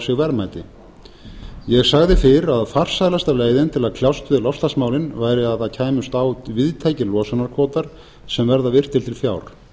sig verðmæti ég sagði fyrr að farsælasta leiðin til að kljást við loftslagsmálin væri að það kæmust á víðtækir losunarkvótar sem verða virtir til fjár